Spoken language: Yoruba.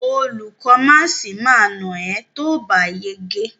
Olùkó máàsì ma nà ẹ́ tóòbá yege.